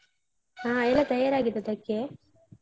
ಹ ಎಲ್ಲ ತಯಾರಾಗಿದದಕ್ಕೆ?